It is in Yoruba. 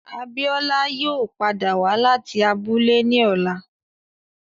Abiola yoo pada wa lati abule ni ọla